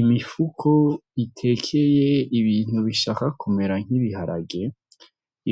Imifuko itekeye ibintu bishaka kumera nk'ibiharage